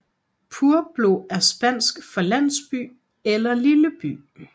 Pueblo er spansk for landsby eller lille by